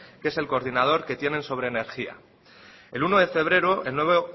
que es el coordinador que tienen sobre energía el uno de febrero el nuevo